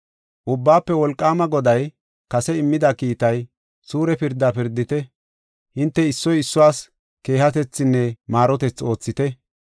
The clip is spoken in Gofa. “Ubbaafe Wolqaama Goday kase immida kiitay, ‘Suure pirdaa pirdite; hinte issoy issuwas keehatethinne maarotethi oothite.